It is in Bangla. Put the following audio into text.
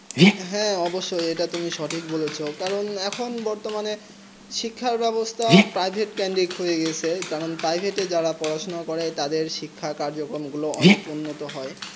হেঁ এটা তুমি সঠিক বলেছো কেন এখন বর্তমানে সিল্কহে বেবস্তা প্রাইভেট ক্যান্ডেট হয়েগেছে কারণ পারিবাতে যারা পরে তাদের শিক্ষা কাজকর্ম অনেক উন্নত